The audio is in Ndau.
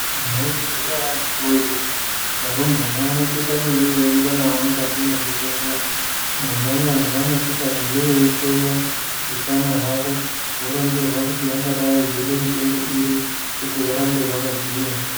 Mwaizviziya ere akiti woye kuti varumbwana vanosisa kunge veirumbwa nawo muzvibhedhleya mwona umwo mwaanosisa kunge veihloyiwa utano hwawo voronzerwa kuti vangadai veide mitombo iri kuti varambe vakagwinya.